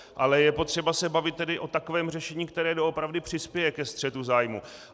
Ale je potřeba se bavit tedy o takovém řešení, které doopravdy přispěje ke střetu zájmů.